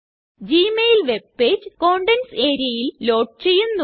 Gmail webpage contents areaയില് load ചെയ്യുന്നു